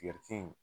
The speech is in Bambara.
Tigɛriti in